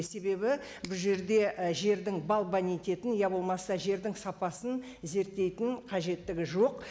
себебі бұл жерде і жердің иә болмаса жердің сапасын зерттейтін қажеттігі жоқ